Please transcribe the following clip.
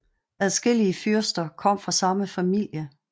Adskillige fyrsterne kom fra samme familie